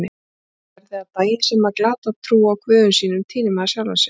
Lærði að daginn sem maður glatar trú á guðum sínum týnir maður sjálfum sér.